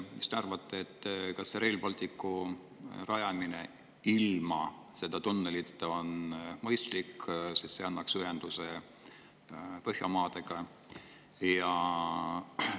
Mis te arvate, kas Rail Balticu rajamine on mõistlik ilma selle tunnelita, mis annaks ühenduse Põhjamaadega?